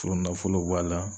Furunafolo bɔ a la